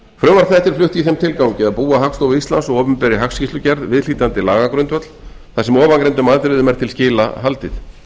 er flutt í þeim tilgangi að búa hagstofu íslands og opinberri hagskýrslugerð viðhlítandi lagagrundvöll þar sem ofangreindum atriðum er til skila haldið